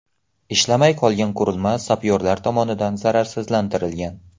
Ishlamay qolgan qurilma sapyorlar tomonidan zararsizlantirilgan.